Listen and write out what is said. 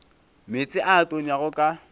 meetse a a tonyago ka